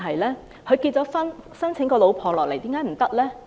他結了婚，申請太太來港，有何不對？